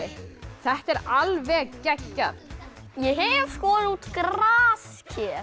þetta er alveg geggjað ég hef skorið út grasker